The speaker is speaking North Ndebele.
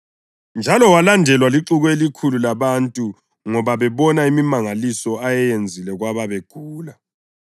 njalo walandelwa lixuku elikhulu labantu ngoba babona imimangaliso ayeyenzile kwababegula.